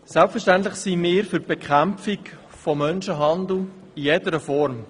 Selbstverständlich sind wir für die Bekämpfung von Menschenhandel in jeder Form.